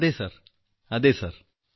അതെ സർ അതെ സർ